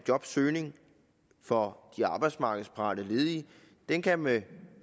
jobsøgning for de arbejdsmarkedsparate ledige kan kan med